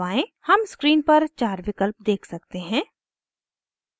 हम स्क्रीन पर चार विकल्प देख सकते हैं